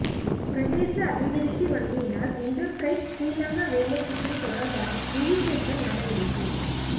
பிரதேச அபிவிருத்தி வங்கியினால் என்ரப்பிரைஸ் சிறிலங்கா வேலைத்திட்டம் தொடர்பான விழிப்பூட்டல் நடவடிக்கை